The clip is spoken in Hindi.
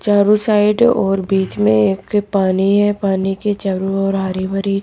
चारों साइड और बीच में एक पानी है पानी के चारों ओर हरी भरी--